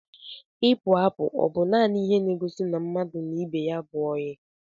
Ipu apụ ọ bu nanị ihe n'egosi na mmadụ na ibe ya bú oyi?